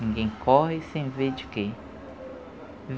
Ninguém corre sem ver de quê.